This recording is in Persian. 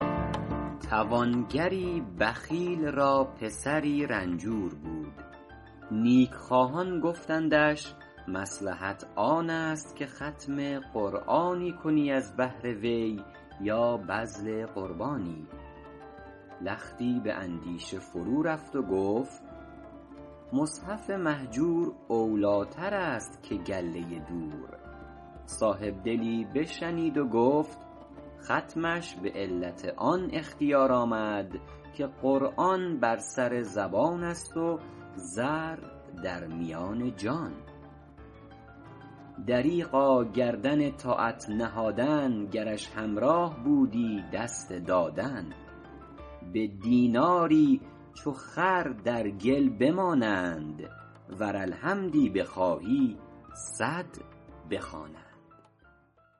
توانگری بخیل را پسری رنجور بود نیکخواهان گفتندش مصلحت آن است که ختم قرآنی کنی از بهر وی یا بذل قربانی لختی به اندیشه فرورفت و گفت مصحف مهجور اولیتر است که گله دور صاحبدلی بشنید و گفت ختمش به علت آن اختیار آمد که قرآن بر سر زبان است و زر در میان جان دریغا گردن طاعت نهادن گرش همراه بودی دست دادن به دیناری چو خر در گل بمانند ور الحمدی بخواهی صد بخوانند